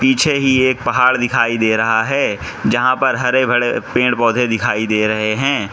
पीछे ये एक पहाड़ दिखाई दे रहा है। जहां पर हरे-भरे पेड़-पौधे दिखाई दे रहे हैं।